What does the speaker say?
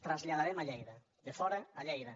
traslladarem a lleida de fora a lleida